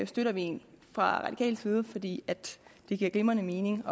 støtter vi fra radikal side fordi det giver glimrende mening